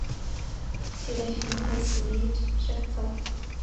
серафим васильевич шевцов